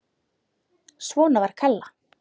Svona var Kalla.